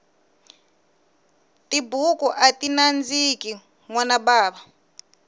tibuku ati nandziki nwana bava